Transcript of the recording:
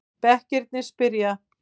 Bekkirnir spyrja!